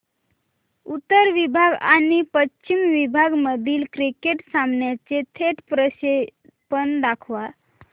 उत्तर विभाग आणि पश्चिम विभाग मधील क्रिकेट सामन्याचे थेट प्रक्षेपण दाखवा